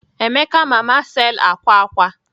Emeka mama sale’ akwa akwa